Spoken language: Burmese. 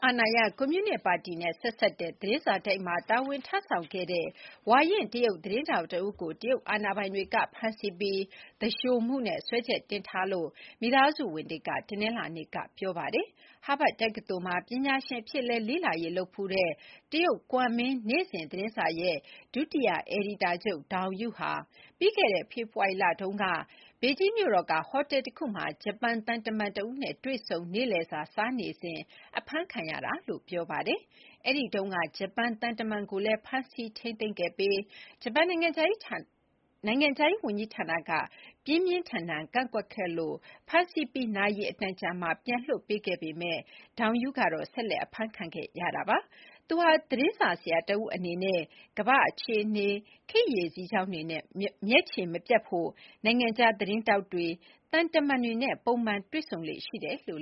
အာဏာရ ကွန်မြူနစ်ပါတီနဲ့ဆက်စပ်တဲ့သတင်းစာတိုက်မှာ တာဝန်ထမ်းဆောင်ခဲ့တဲ့ ဝါရင့်တရုတ်သတင်းထောက်တဦးကို တရုတ်အာဏာပိုင်တွေက ဖမ်းဆီးပြီး သူလျှိုမှုနဲ့စွဲချက်တင်ထားခံရကြောင်း မိသားစုဝင်တွေက တနင်္လာနေ့က ပြောလိုက်ပါတယ်။ ဟားဗတ်တက္ကသိုလ်မှာ ပညာရှင်အဖြစ်လည်း လေ့လာရေးလုပ်ဖူးတဲ့ တရုတ် ကွမ်မင်းနေ့စဉ်သတင်းစာရဲ့ ဒု-အယ်ဒီတာချုပ် ဒေါင်ယု (Dong Yuyu) ဟာ ပြီးခဲ့တဲ့ ဖေဖော်ဝါရီလတုန်းက ဘေဂျင်းမြို့တော်ကဟိုတယ်တခုမှာ ဂျပန်သံတမန်တဦးနဲ့ တွေ့ဆုံနေ့လယ်စာစားနေတုန်း အဖမ်းခံခဲ့ရတာလို့ ပြောပါတယ်။ အဲ့တုန်းက ဂျပန်သံတမန်ကိုလည်း ဖမ်းဆီးထိန်းသိမ်းခဲ့ပြီး ဂျပန်နိုင်ငံခြားရေး ဝန်ကြီးဌာနက ပြင်းပြင်းထန်ထန်ကန့်ကွက်ခဲ့လို့ ဖမ်းဆီးပြီး နာရီအတန်ကြာမှာ ပြန်လွှတ်ပေးခဲ့ပေမယ့် ဒေါင်ယုကတော့ ဆက်လက် အဖမ်းခံခဲ့ရတာပါ။ သူဟာ သတင်းစာဆရာတဦးအနေနဲ့ ကမ္ဘာ့အခြေအနေ ခေတ်ရေစီးကြောင်းတွေနဲ့ မျက်ခြေမပြတ်ဖို့ နိုင်ငံခြားသတင်းထောက်တွေ၊ သံတမန်တွေနဲ့ ပုံမှန်တွေ့ဆုံလေ့ရှိတယ်လို့